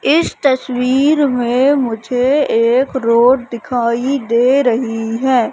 इस तस्वीर में मुझे एक रोड दिखाई दे रहीं हैं।